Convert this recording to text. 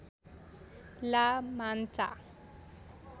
ला मान्चा